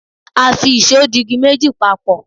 a fi ìsó di igi méjì papo